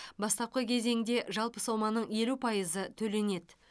бастапқы кезеңде жалпы соманың елу пайызы төленеді